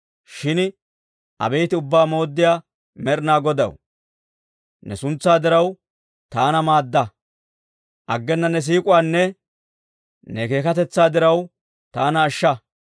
Shin abeet Ubbaa Mooddiyaa Med'inaa Godaw, ne suntsaa diraw, taana maadda. Aggena ne siik'uwaanne ne keekkatetsaa diraw, taana ashsha.